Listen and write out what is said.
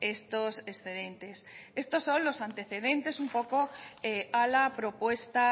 estos excedentes estos son los antecedentes un poco a la propuesta